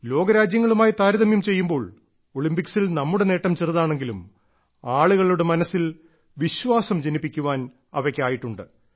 ലോകരാജ്യങ്ങളുമായി താരതമ്യം ചെയ്യുമ്പോൾ ഒളിമ്പിക്സിൽ നമ്മുടെ നേട്ടം ചെറുതാണെങ്കിലും ആളുകളുടെ മനസ്സിൽ വിശ്വാസം ജനിപ്പിക്കാൻ അവയ്ക്കായിട്ടുണ്ട്